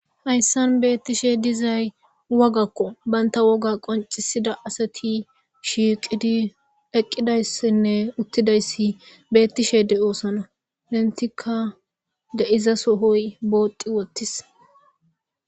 Haysan beetishe dizays wogako. Banta woga qoncisiza asati shiiqidi eqqidaysine uttidaysi beetishe de'osona. Entika de'iza sohoy booti uttis.